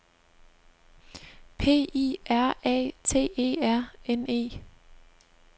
P I R A T E R N E